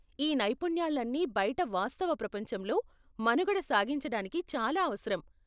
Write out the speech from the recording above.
ఈ నైపుణ్యాలన్నీ బయట వాస్తవ ప్రపంచంలో మనుగడ సాగించడానికి చాలా అవసరం.